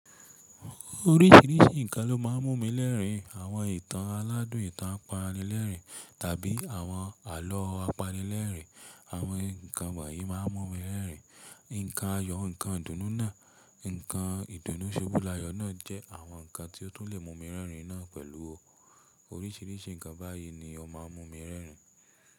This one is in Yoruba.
Oríṣìíríṣìí nǹkan ló máa ń mú mi rerin. Àwọn ìtàn aládùn, ìtàn apanilẹ́rìn tàbí àwọn àlọ́ apanilẹ́rìn, àwọn nǹkan wonyii máa ń mú mi rerin. Nǹkan ayọ̀, nǹkan ìdùnnú náà, nǹkan ìdùnnú ṣubú layọ̀ náà jẹ́ àwọn nǹkan tí ó tún lè mú mi rerin náà pẹ̀lú o. Oríṣìíríṣìí nǹkan báyìí ni ó máa ń mú mi rerin.